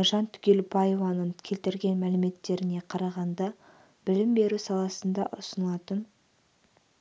айжан түгелбаеваның келтірген мәліметтеріне қарағанда білім беру саласында ұсынылатын